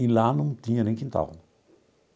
E lá não tinha nem quintal.